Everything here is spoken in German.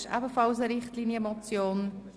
Es ist eine Richtlinienmotion.